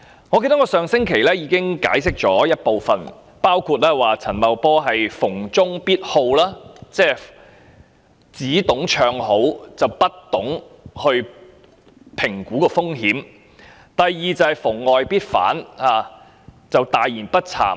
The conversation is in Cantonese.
我記得我上星期已給予部分解釋，包括陳茂波逢中必好，只懂唱好，不懂評估風險；以及第二，是他逢外必反，大言不慚。